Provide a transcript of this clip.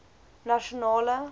nasionale